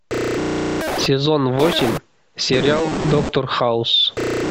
сезон восемь сериал доктор хаус